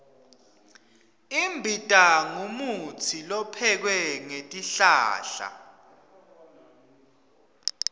imbita ngumutsi lophekwe ngetihlahla